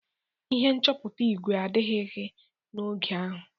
Ihe nchọpụta igwe adịkaghị n'oge ahụ.